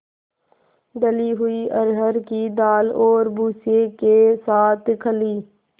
दली हुई अरहर की दाल और भूसे के साथ खली